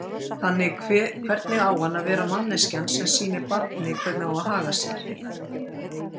Þannig hvernig á hann að vera manneskjan sem sýnir barni hvernig á að haga sér?